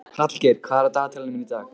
Hallgeir, hvað er í dagatalinu mínu í dag?